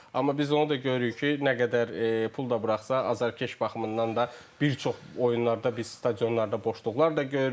Amma biz onu da görürük ki, nə qədər pul da buraxsa, azarkeş baxımından da bir çox oyunlarda biz stadionlarda boşluqlar da görürük.